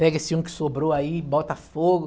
Pega esse um que sobrou aí, bota fogo.